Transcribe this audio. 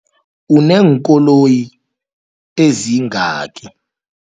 Uneenkoloyi ezingaki?